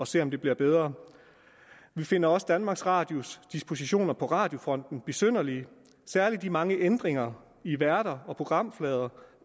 se om det bliver bedre vi finder også danmarks radios dispositioner på radiofronten besynderlige særlig de mange ændringer i værter og programflader